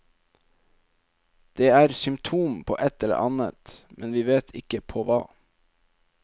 Det er symptom på et eller annet, men vi vet ikke på hva.